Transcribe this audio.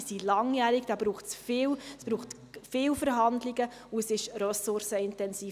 Sie sind langjährig, da braucht es viele Verhandlungen und dies ist ressourcenintensiv.